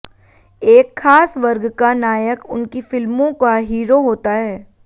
एक खास वर्ग का नायक उनकी फिल्मों का हीरो होता है